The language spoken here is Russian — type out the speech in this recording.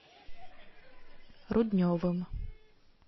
рудневым